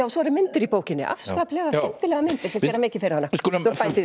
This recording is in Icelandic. svo eru myndir í bókinni afskaplega skemmtilegar myndir sem gera mikið fyrir hana við skulum